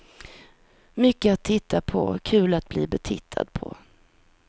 Mycket att titta på, kul att bli betittad på.